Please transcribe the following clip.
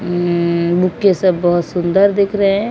म्म bouquet सब बहोत सुंदर दिख रहे--